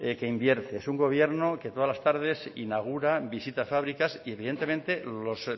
que invierte es un gobierno que todas las tardes inaugura visita fábricas y evidentemente los